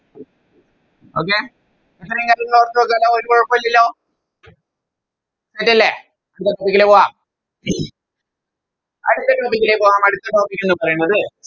Okay ഇത്രേം കാര്യങ്ങൾ ഓർത്ത് വെക്കുവല്ലോ ഒരു കൊഴപ്പോല്ലല്ലോ Ready അല്ലെ അടുത്ത Topic ലേക്ക് പോകാം അടുത്ത Topic ലേക്ക് പോകാം അടുത്ത Topic എന്ന് പറയുന്നത്